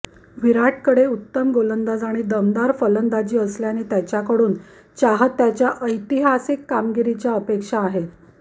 विराटकडे उत्तम गोलंदाज आणि दमदार फलंदाजी असल्याने त्याच्याकडून चाहत्याच्या ऐतिहासिक कामगिरीच्या अपेक्षा आहेत